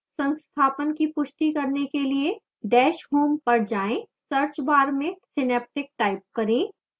संस्थापन की पुष्टि करने के लिए dash home पर जाएं search bar में synaptic type करें